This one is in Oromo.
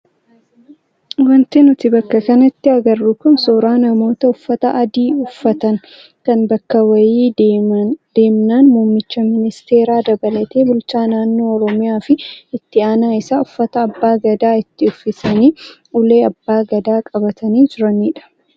Wanti nuti bakka kanatti agarru kun suuraa namoota uffata adii uffatan kan bakka wayii deemnaan muummicha ministeeraa dabalatee bulchaa naannoo oromiyaa fi itti aanaa isaa uffata abbaa gadaa itti uffisanii ulee abbaa gadaa qabatanii jiranidha.